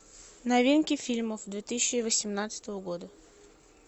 новинки фильмов две тысячи восемнадцатого года